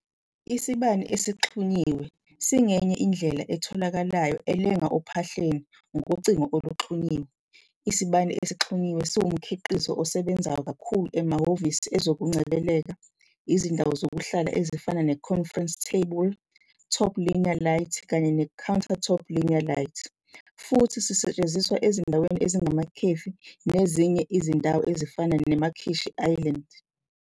Isibani Esixhunyiwe esixhunyiwe singenye indlela etholakalayo elenga ophahleni ngocingo oluxhunyiwe, isibani esixhunyiwe esixhunyiwe siwumkhiqizo osebenzayo kakhulu ehhovisi, ezokungcebeleka, izindawo zokuhlala ezifana ne-conference table top linear light kanye ne-countertop linear light futhi sisetshenziswa ezindaweni ezinjengamakhefi nezinye izindawo ezifana nekhishi island.